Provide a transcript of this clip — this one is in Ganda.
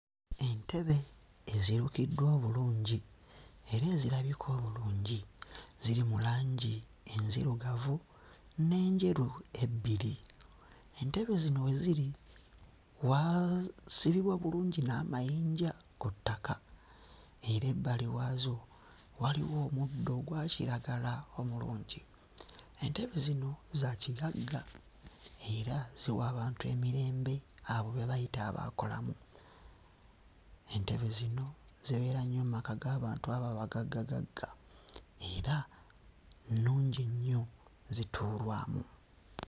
Entebe ezirukiddwa obulungi era ezirabika obulungi. Ziri mu langi enzirugavu n'enjeru ebbiri. Entebe zino we ziri waasibibwa bulungi n'amayinja ku ttaka era ebbali waazo waliwo omuddo ogwa kiragala omulungi. Entebe zino za kigagga era ziwa abantu emirembe, abo be bayita abaakolamu. Entebe zino zibeera nnyo mu maka g'abantu abo abagaggagagga era nnungi nnyo, zituulwamu.